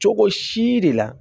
Cogo si de la